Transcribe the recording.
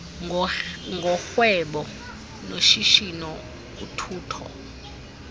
ngorhwebo noshishino uthutho